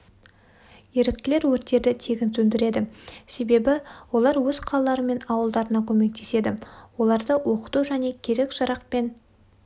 еріктілер өрттерді тегін сөндіреді себебі олар өз қалалары мен ауылдарына көмектеседі оларды оқыту және керек-жарақпен